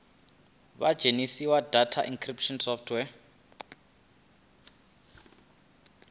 vha dzhenise data encryption software